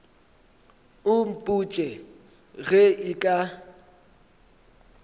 o mpotše ge e ka